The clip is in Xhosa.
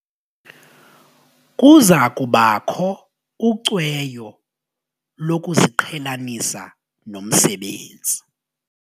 Kuza kubakho ucweyo lokuziqhelanisa nomsebenzi.